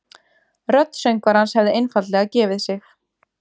Rödd söngvarans hefði einfaldlega gefið sig